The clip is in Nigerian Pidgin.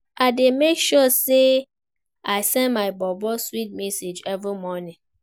I dey make sure sey I send my bobo sweet message every morning.